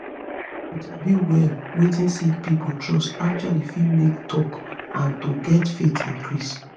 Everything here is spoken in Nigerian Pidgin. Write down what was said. to sabi well wetin sick pipo trust actually fit make talk and to get faith increase